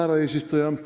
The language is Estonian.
Härra eesistuja!